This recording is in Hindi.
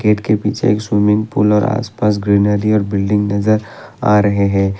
गेट के पीछे एक स्विमिंग पूल और आसपास ग्रीनरी और बिल्डिंग नजर आ रहे हैं।